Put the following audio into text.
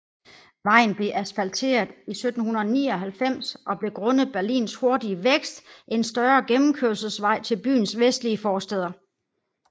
Vejen blev asfalteret i 1799 og blev grundet Berlins hurtige vækst en større gennemkørselsvej til byens vestlige forstæder